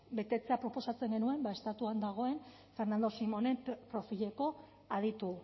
betetzea proposatzen genuen estatuan dagoen fernando simónen profileko aditu